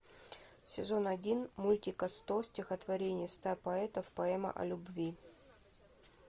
сезон один мультика сто стихотворений ста поэтов поэма о любви